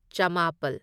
ꯆꯃꯥꯄꯜ